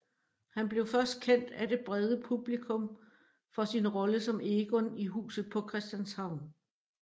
Han blev først kendt af det brede publikum for sin rolle som Egon i Huset på Christianshavn